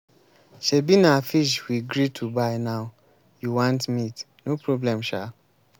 shebi na fish we gree to buy now you want meat. no problem shaa.